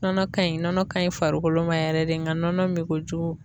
Nɔnɔ ka ɲi nɔnɔ ka ɲi farikolo ma yɛrɛ de nga nɔnɔ min kojugu